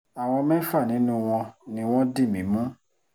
àwọn mẹ́fà nínú wọn ni wọ́n dì mí mú